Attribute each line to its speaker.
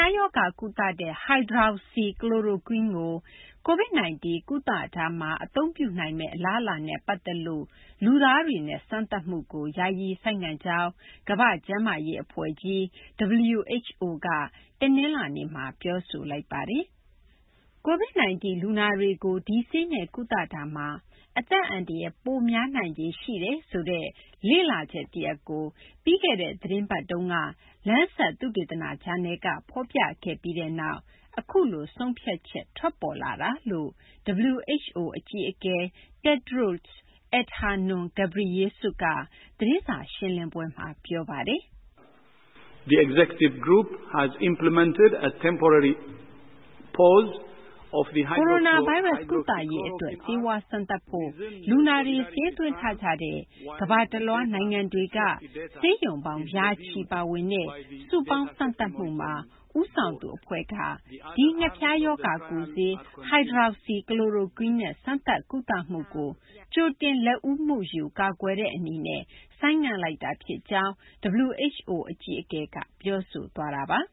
Speaker 1: ားရောဂါ ကုသတဲ့ Hydroxychloroquine ကို COVID-19 ကုသရာမှာ အသုံးပြုနိုင်မယ့် အလားအလာနဲ့ ပတ်သက်လု့ိ လူသားတွေနဲ့ စမ်းသပ်နေမှုကို ယာယီ ဆိုင်းငံ့ကြောင်း ကမ္ဘာ့ကျန်းမာရေး အဖွဲ့ကြီး WHO က တနလာၤနေ့မှာ ပြောဆိုလိုက်ပါတယ်။ COVID -19 လူနာတွေကို Hydroxychloroquine နဲ့ ကုသမှုမှာ အသက်အန္တရာယ် ပိုပြီး များနိုင်ခြေ ရှိတယ်လို့ Lancet သုတေသန ဂျာနယ်မှာ ပြီးခဲ့တဲ့ သီတင်းပတ်တုန်းက ဖော်ပြခဲ့တဲ့ လေ့လာချက် တရပ်က ဖော်ပြခဲ့ပြီးနောက် အခုလို ဆုံးဖြတ်ချက် ထွက်ပေါ်လာတာ ဖြစ်ကြောင်း WHO အကြီးအကဲ Tedros Adhanom Ghebreyesus က သတင်းစာရှင်းလင်းပွဲမှာ ပြောပါတယ်။
Speaker 2: “ကိုရိုနာဗိုင်
Speaker 1: းရပ်စ် ကုသရေး အတွက် ဆေးဝါး စမ်းသပ်ဖို့ လူနာတွေ စာရင်းသွင်းထားကြတဲ့ ကမ္ဘာတလွှား နိုင်ငံတွေက ဆေးရုံပေါင်း ရာချီပါဝင်တဲ့ စုပေါင်းစမ်းသပ်မှုမှာ ဦးဆောင်သူအဖွဲ့က ဒီ ငှက်ဖျားရောဂါ ကုဆေး hydroxychloroquine နဲ့ စမ်းသပ် ကုသမှုကို ကြိုတင်လက်ဦးမှုယူ ကာကွယ်တဲ့အနေနဲ့ ဆိုင်းငံ့လိုက်တာ ဖြစ်ကြောင်း” WHO အကြီးအကဲက ပြောဆိုသွားတာပါ။